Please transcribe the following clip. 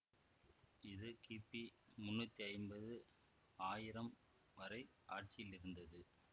இது கிபி முன்னூத்தி ஐம்பது ஆயிரம் வரை ஆட்சியில் இருந்தது